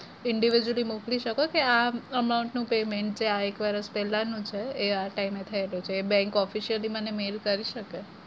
individual મોકલી શકો ત્યાં amount નું payment ત્યાં એક વરસ પેલાનું છે એઆ time એ થયેલું છે એ bank officially મને mail કરી શકે?